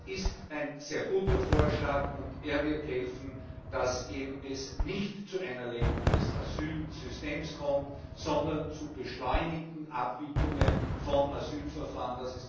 Das ist ein sehr guter Vorschlag, und er wird helfen, dass es eben nicht zu einer Lähmung des Asylsystems kommt, sondern zur beschleunigten Abwicklungen von Asylverfahren.